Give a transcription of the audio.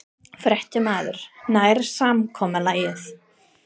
Fréttamaður: Nær samkomulagið?